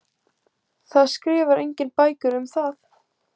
Það skrifar enginn bækur um það.